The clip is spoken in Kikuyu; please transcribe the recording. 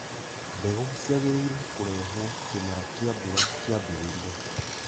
Mbegũ ciagĩrĩirwo kũrehwo kĩmera kĩa mbura kĩambĩrĩria